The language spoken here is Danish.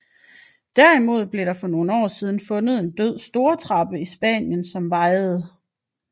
Derimod blev der for nogle år siden fundet en død stortrappe i Spanien som vejede